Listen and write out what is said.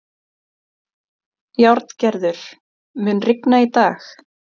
Járngerður, mun rigna í dag?